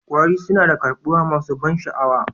Kwari suna da karbuwa masu ban sha'awa